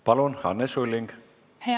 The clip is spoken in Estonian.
Palun, Anne Sulling!